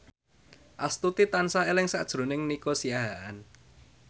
Astuti tansah eling sakjroning Nico Siahaan